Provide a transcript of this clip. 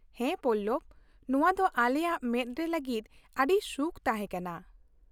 ᱦᱮᱸ ᱯᱚᱞᱞᱚᱵ ! ᱱᱚᱶᱟ ᱫᱚ ᱟᱞᱮᱭᱟᱜ ᱢᱮᱫ ᱨᱮ ᱞᱟᱹᱜᱤᱫ ᱟᱹᱰᱤ ᱥᱩᱠᱷ ᱛᱟᱦᱮᱸ ᱠᱟᱱᱟ ᱾